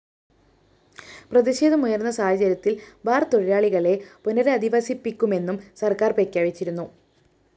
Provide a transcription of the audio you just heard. പ്രതിഷേധമുയര്‍ന്ന സാഹചര്യത്തില്‍ ബാർ തൊഴിലാളികളെ പുനരധിവസിപ്പിക്കുമെന്നും സര്‍ക്കാര്‍ പ്രഖ്യാപിച്ചിരുന്നു